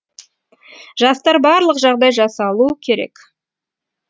жастар барлық жағдай жасалу керек